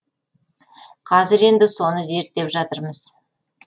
қазір енді соны зерттеп жатырмыз